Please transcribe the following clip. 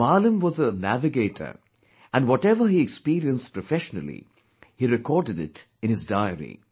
Maalam was a navigator and whatever he experienced professionally, he recorded it in his diary